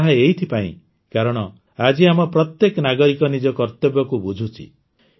ତାହା ଏଥିପାଇଁ କାରଣ ଆଜି ଆମ ପ୍ରତ୍ୟେକ ନାଗରିକ ନିଜ କର୍ତବ୍ୟକୁ ବୁଝୁଛି